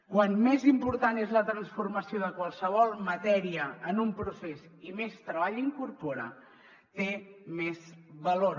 com més important és la transformació de qualsevol matèria en un procés i més treball incorpora té més valor